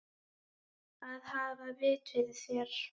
Að hafa vit fyrir þér?